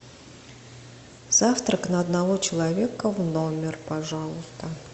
завтрак на одного человека в номер пожалуйста